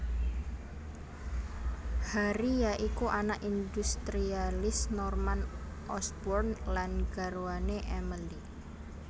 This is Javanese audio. Harry ya iku anak industrialis Norman Osborn lan garwane Emily